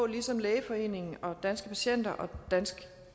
ligesom lægeforeningen og danske patienter og danske